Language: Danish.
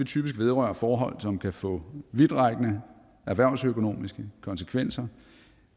typisk vedrøre forhold som kan få vidtrækkende erhvervsøkonomiske konsekvenser